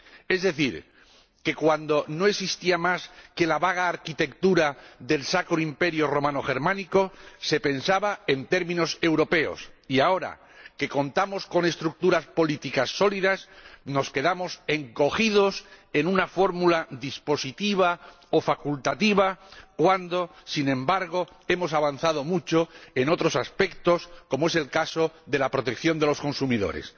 Es decir que, cuando no existía más que la vaga arquitectura del Sacro Imperio Romano Germánico, se pensaba en términos europeos y ahora, que contamos con estructuras políticas sólidas, nos quedamos encogidos en una fórmula dispositiva o facultativa, cuando, sin embargo, hemos avanzado mucho en otros aspectos como el de la protección de los consumidores.